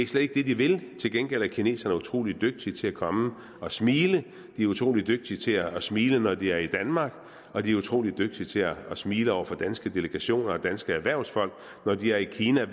slet ikke det de vil til gengæld er kineserne utrolig dygtige til at komme og smile de er utrolig dygtige til at smile når de er i danmark og de er utrolig dygtige til at smile over for danske delegationer og danske erhvervsfolk når de er i kina